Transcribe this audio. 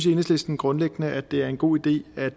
enhedslisten grundlæggende at det er en god idé at